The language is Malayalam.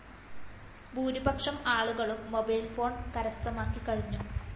ഭൂരിപക്ഷം ആളുകളും മൊബൈല്‍ഫോണ്‍ കരസ്ഥമാക്കി കഴിഞ്ഞു